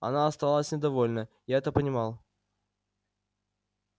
она осталась недовольна я это понимал